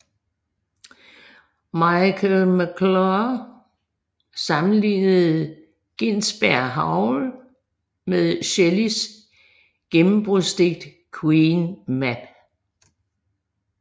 Michael McClure sammenlignede Ginsbergs Howl med Shelleys gennembrudsdigt Queen Mab